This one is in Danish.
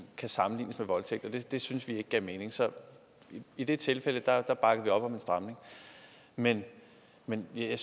kan sammenlignes med voldtægt det syntes vi ikke gav mening så i det tilfælde bakkede vi op om en stramning men men det